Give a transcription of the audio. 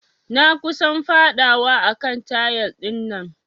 Na kusan fadawa a kan tayal dinnan.